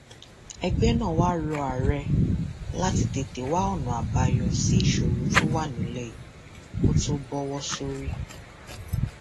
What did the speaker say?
ẹgbẹ náà wáá rọ ààrẹ láti tètè wá ọnà àbáyọ sí ìṣòro tó wà nílẹ yìí kó tóó bọwọ sórí